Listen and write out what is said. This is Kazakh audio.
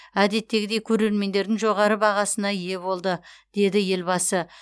әдеттегідей көрермендердің жоғары бағасына ие болды деді елбасы